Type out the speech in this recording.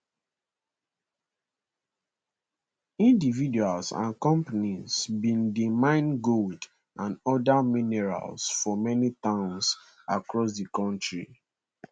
individuals and companies bin dey mine gold and oda minerals for many towns across di kontri